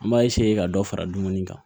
An b'a ka dɔ fara dumuni kan